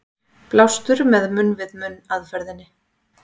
Blástur með munn-við-munn aðferðinni.